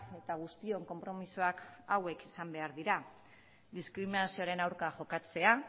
eta guztion konpromisoak hauek izan behar dira diskriminazioaren aurka jokatzea